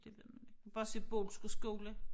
Det ved man inte bare se Bodilsker skole